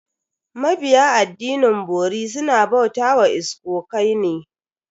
Mabiya addinin bori suna bauta wa iskokai ne.